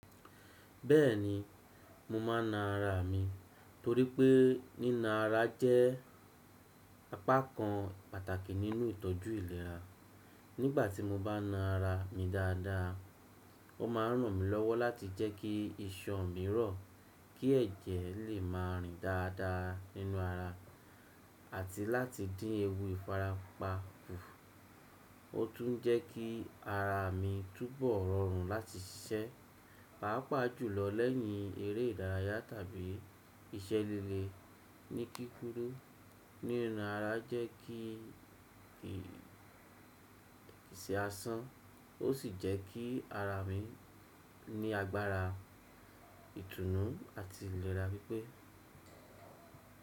Bẹ́ẹ̀ni, mo máa ń na ara mi torípé níná ara jẹ́ apá kan pàtàkì nínú ìtọ́jú ìlera. Nígbà tí mo bá na ara mi dáadáa, ó máa rànmí lọ́wọ́ láti jẹ́ kí iṣan mi rọ̀, kí ẹ̀jẹ̀ lè má rin dáadáa nínú ara àti láti dín ewu ìfarapa kù. Ó tún jẹ́ kí ara mi túnbọ̀ rọrùn láti ṣiṣẹ́, pàápàá jùlọ lẹ́yìn eré ìdárayá tàbí iṣẹ́ lele. Ní kíkúrú, níná ara jẹ́ kí kì í ṣe aásán, ó sì jẹ́ kí ara mi ní agbára, ìtúnú àti ìlera pípẹ́.